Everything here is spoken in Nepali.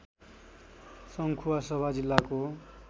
सङ्खुवासभा जिल्लाको